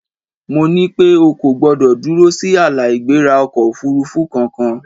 Mo ní pé O kò gbọdọ̀ dúró sí ààlà-ìgbéra ọkọ̀-òfurufú kankan!